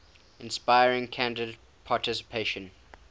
inspiring candidate participants